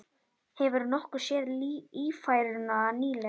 Hefurðu nokkuð séð Ífæruna nýlega?